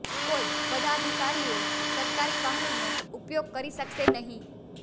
કોઈ પદાધિકારીઓ સરકારી વાહનનો ઉપયોગ કરી શકશે નહીં